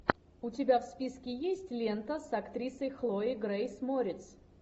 у тебя в списке есть лента с актрисой хлоя грейс морец